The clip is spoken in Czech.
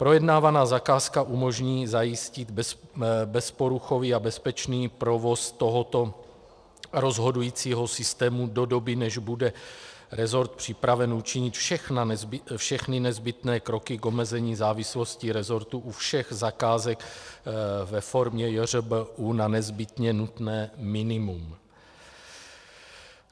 Projednávaná zakázka umožní zajistit bezporuchový a bezpečný provoz tohoto rozhodujícího systému do doby, než bude resort připraven učinit všechny nezbytné kroky k omezení závislosti resortu u všech zakázek ve formě JŘBÚ na nezbytně nutné minimum.